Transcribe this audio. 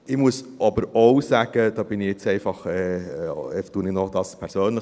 Ich muss aber auch sagen – das sage ich einfach persönlich: